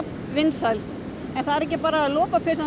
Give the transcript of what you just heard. vinsæl en það er ekki bara lopapeysan